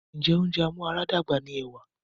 Ǹjẹ́ oúnjẹ amúaradàgbà ni ẹ̀wà?